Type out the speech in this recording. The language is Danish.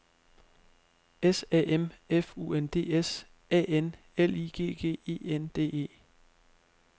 S A M F U N D S A N L I G G E N D E